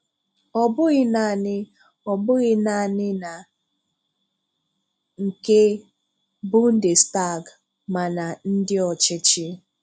Ọ̀ bụghị nanị Ọ̀ bụghị nanị na nke Bundestag—ma ná Ndị ọchịchị.